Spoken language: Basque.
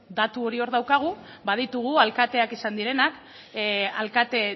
datu hori hor daukagu baditugu alkateak izan direnak alkate